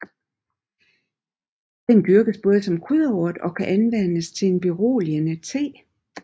Den dyrkes både som krydderurt og kan anvendes til en beroligende te